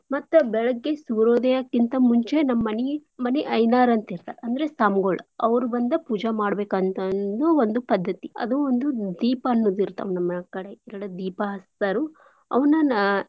ಮತ್ತ ಬೆಳಗ್ಗೆ ಸೂರ್ಯೋದಯಕ್ಕಿಂತ ಮುಂಚೆ ನಮ್ ಮನೀ, ಮನಿ ಐಯ್ನಾರ್ ಅಂತ್ ಇರ್ತಾರ್ ಅಂದ್ರೆ ಸ್ವಾಮ್ಗಳ್ ಅವ್ರ್ ಬಂದ ಪೂಜಾ ಮಾಡ್ಬೇಕ್ ಅಂತಂದು ಒಂದು ಪದ್ದತಿ. ಅದು ಒಂದು ದೀಪ ಅನ್ನೂದಿರ್ತಾವ್ ನಮ್ಮನ್ಯಾಗ್ ಕಡೆ ದೀಪ ಹಚ್ತಾರು ಅವುನ.